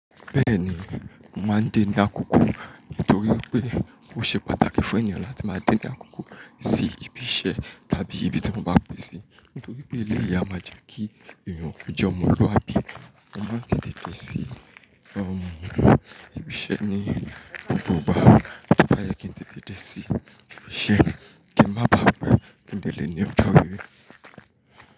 Bẹ́ẹ̀ni, mo máa ń de ní àkókò nítorí pé ó ṣe pàtàkì fún ènìyàn láti máa de ní àkókò sí ibi iṣẹ́ tàbí ibi tí mọ́ bá pè ṣe nítorí pé eléyìí a máa jẹ́ kí èèyàn kò jole ọmọ oluwabi. A máa ń tètè dé sí ibi iṣẹ́ ní gbogbo ìgbà. Ó báyẹ́ kí n tètè dé sí ibi iṣẹ́ kí ń má ba à pẹ́ kí n de lè ní ọjọ́ ire.